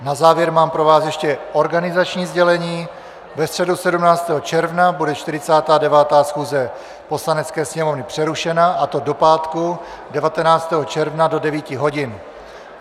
Na závěr mám pro vás ještě organizační sdělení: ve středu 17. června bude 49. schůze Poslanecké sněmovny přerušena, a to do pátku 19. června do 9 hodin.